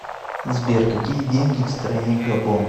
сбер какие деньги в стране габон